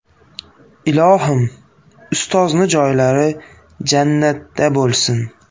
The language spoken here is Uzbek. Ilohim ustozni joylari jannatda bo‘lsin!